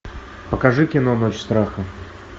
покажи кино ночь страха